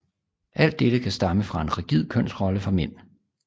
Alt dette kan stamme fra en rigid kønsrolle for mænd